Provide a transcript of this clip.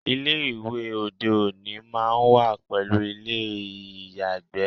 Ilé ìwẹ̀ òde òní máá ń wà pẹ̀lú ilé ìyàgbẹ̀